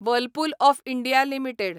Whirlpool of India limited